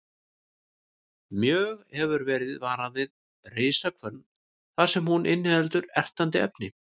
Mjög hefur verið varað við risahvönn þar sem hún inniheldur ertandi efni.